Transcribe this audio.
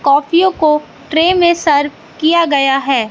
काफियों को ट्रे में सर्व किया गया है।